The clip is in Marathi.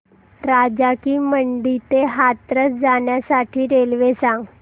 राजा की मंडी ते हाथरस जाण्यासाठी रेल्वे सांग